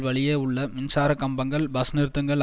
வழியே உள்ள மின்சார கம்பங்கள் பஸ் நிறுத்தங்கள்